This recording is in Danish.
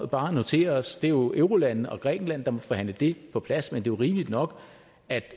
bare notere os det er jo eurolandene og grækenland der må forhandle det på plads men jo rimeligt nok at